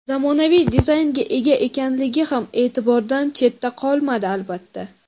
zamonaviy dizaynga ega ekanligi ham e’tibordan chetda qolmadi, albatta.